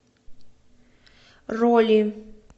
роли